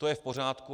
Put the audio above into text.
To je v pořádku.